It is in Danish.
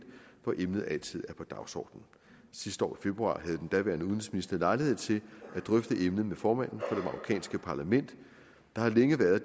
hvor emnet altid er på dagsordenen sidste år i februar havde den daværende udenrigsminister lejlighed til at drøfte emnet med formanden for det marokkanske parlament der har længe været